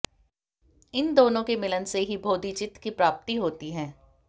इन दोनों के मिलन से ही बोधिचित्त की प्राप्ति होती है